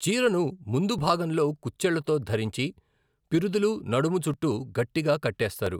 చీరను ముందు భాగంలో కుచ్చెళ్లతో ధరించి, పిరుదులు, నడుము చుట్టూ గట్టిగా కట్టేస్తారు.